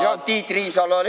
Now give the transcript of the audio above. Ja Tiit Riisalo oli ka.